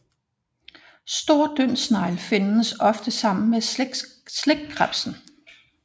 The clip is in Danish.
Stor dyndsnegl findes ofte sammen med slikkrebsen